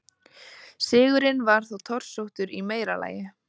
Sigurinn var þó torsóttur í meira lagi.